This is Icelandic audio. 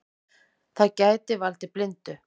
Það gæti valdið blindu.